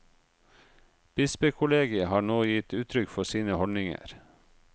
Bispekollegiet har nå gitt uttrykk for sine holdninger.